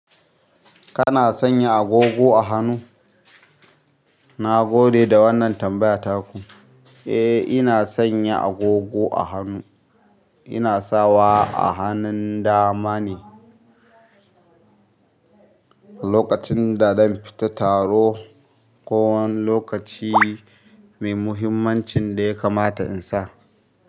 Kana sanya agogo a hannu? Nagode da wannan tambaya taku. Eh, ina sanya agogo a hannu. Ina sawa a hannun dama ne. Lokacin da zan fita taro ko wani lokaci mai muhimmancin da ya kamata in sa.